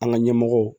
An ka ɲɛmɔgɔw